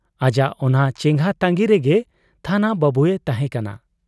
ᱟᱡᱟᱜ ᱚᱱᱟ ᱪᱮᱸᱜᱷᱟ ᱛᱟᱺᱜᱤ ᱨᱮᱜᱮ ᱛᱷᱟᱱᱟ ᱵᱟᱹᱵᱩᱭ ᱛᱟᱦᱮᱸ ᱠᱟᱱᱟ ᱾